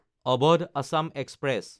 Awadh Assam express